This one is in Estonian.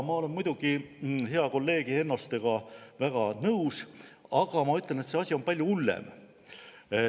" Ma olen muidugi hea kolleegi Hennostega väga nõus, aga ma ütlen, et see asi on palju hullem.